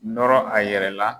Nɔrɔ a yɛrɛ la